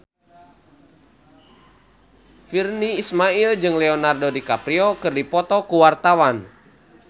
Virnie Ismail jeung Leonardo DiCaprio keur dipoto ku wartawan